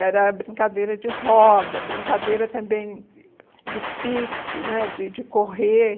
Era brincadeira de roda, brincadeira também de pique né, de de correr.